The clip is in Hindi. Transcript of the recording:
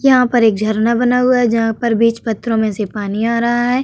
यहाँ पर एक झरना बना हुआ है। जहां पर बीच पत्थरों में से पानी आ रहा है।